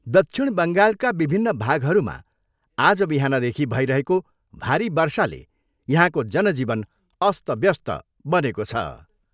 दक्षिण बङ्गालका विभिन्न भागहरूमा आज बिहानदेखि भइरहेको भारी वर्षाले यहाँको जनजीवन अस्तव्यस्त बनेको छ।